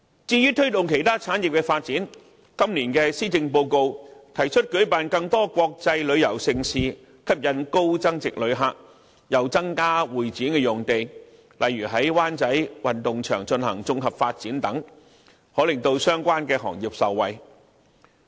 至於推動其他產業的發展，今年的施政報告提出舉辦更多國際旅遊盛事，吸引高增值旅客，又增加香港會議展覽中心的用地，例如在灣仔運動場進行綜合發展等，可令相關行業受惠。